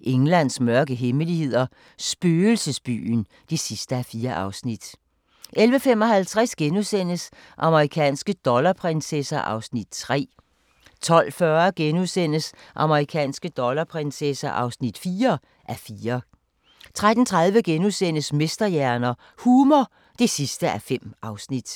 Englands mørke hemmeligheder – spøgelsesbyen (4:4)* 11:55: Amerikanske dollarprinsesser (3:4)* 12:40: Amerikanske dollarprinsesser (4:4)* 13:30: Mesterhjerner – humor (5:5)*